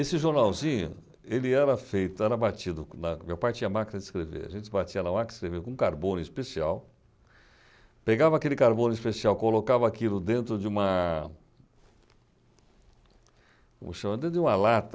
Esse jornalzinho, ele era feito, era batido na, meu pai tinha máquina de escrever, a gente batia na máquina de escrever com carbono especial, pegava aquele carbono especial, colocava aquilo dentro de uma... como chama? dentro de uma lata,